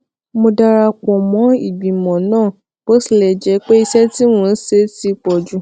mo dara pò mó ìgbìmò náà bó tilè jé pé iṣé tí mò ń ṣe ti pò jù